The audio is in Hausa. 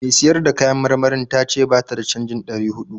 Mai siyar da kayan marmarin ta ce ba ta da canjin ɗari huɗu.